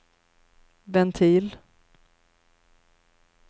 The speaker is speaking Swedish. ventil